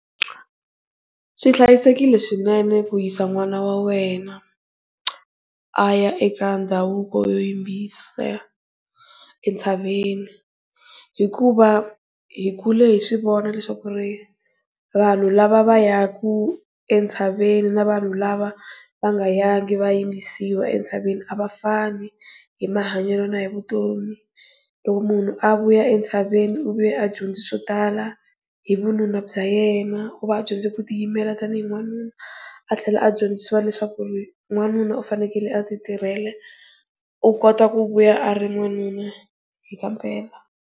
Swi hlayisekile swinene ku yisa n'wana wa wena a ya eka ndhavuko yo yimbisa entshaveni hikuva hi kule hi swi vona leswaku ri vanhu lava va ya ku entshaveni na vanhu lava va nga yangi va ya yimbisiwa entshaveni a va fana hi mahanyelo na hi vutomi. Loko munhu a vuya entshaveni u ve a dyondze swo tala hi vununa bya yena va dyondzisiwa ku tiyimela tanihi n'wanuna, a tlhela a dyondziwa leswaku ri n'wanuna u fanekele a ti tirhela u kota ku vuya a ri n'wanuna hi kampela.